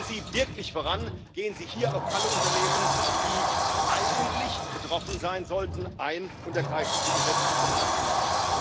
Gehen Sie wirklich voran, gehen Sie hier auf alle Unternehmen, die eigentlich betroffen sein sollten, ein und ergreifen Sie gesetzliche Maßnahmen!